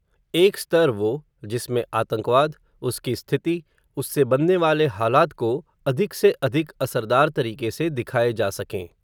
एक स्तर वो, जिसमें आतंकवाद, उसकी स्थिति, उससे बनने वाले हालात को, अधिक से अधिक असरदार तरीके से दिखाए जा सकें